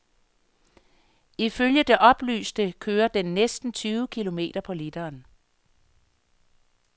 Ifølge det oplyste kører den næsten tyve kilometer på literen.